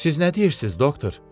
Siz nə deyirsiz, doktor?